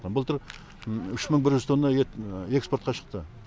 үш мың бір жүз тонна ет экспортқа шықты